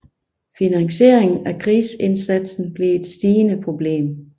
Finansieringen af krigsindsatsen blev et stigende problem